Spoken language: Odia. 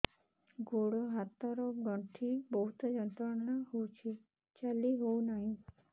ଗୋଡ଼ ହାତ ର ଗଣ୍ଠି ବହୁତ ଯନ୍ତ୍ରଣା ହଉଛି ଚାଲି ହଉନାହିଁ